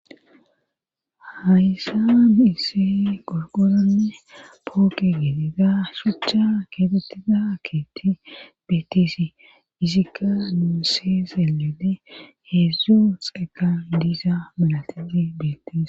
hayssa nisse gorgoranne pooke geteza shucha keetettiza keetti beettisi izikka nuu se seelede heedzdzu xeeqan diisa malatiti bettise